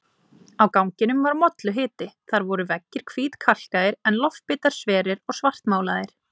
Á ganginum var molluhiti, þar voru veggir hvítkalkaðir en loftbitar sverir og svartmálaðir.